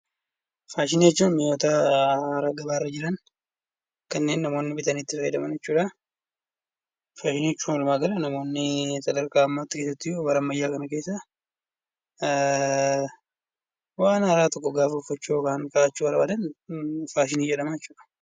Faashinii jechuun mi'oota gabaarra jiran kanneen namoonni bitanii itti fayyadaman jechuudha. Faashinii jechuun walumaagala namoonni itti bara ammayyaa kana keessa waan haaraa tokko gaafa uffachuu faashinii jedhama jechuudha.